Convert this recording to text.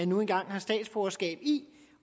nu engang har statsborgerskab i